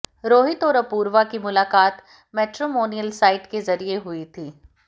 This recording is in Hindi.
रोहित और अपूर्वा की मुलाकात मैट्रिमोनियल साइट के जरिये हुई थी